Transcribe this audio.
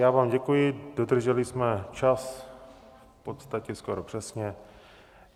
Já vám děkuji, dodrželi jsme čas v podstatě skoro přesně.